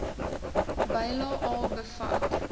bylae a bevat